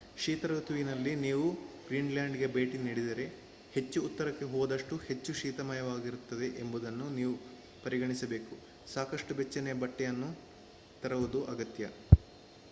ಶೀತ ಋತುವಿನಲ್ಲಿ ನೀವು ಗ್ರೀನ್‌ಲ್ಯಾಂಡ್‌ಗೆ ಭೇಟಿ ನೀಡಿದರೆ ಹೆಚ್ಚು ಉತ್ತರಕ್ಕೆ ಹೋದಷ್ಟೂ ಹೆಚ್ಚು ಶೀತಮಯವಾಗಿರುತ್ತದೆ ಎಂಬುದನ್ನು ನೀವು ಪರಿಗಣಿಸಬೇಕು ಸಾಕಷ್ಟು ಬೆಚ್ಚನೆಯ ಬಟ್ಟೆಯನ್ನು ತರುವುದು ಅಗತ್ಯ